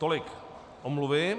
Tolik omluvy.